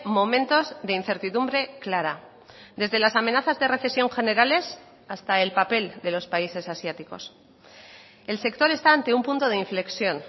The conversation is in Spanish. momentos de incertidumbre clara desde las amenazas de recesión generales hasta el papel de los países asiáticos el sector está ante un punto de inflexión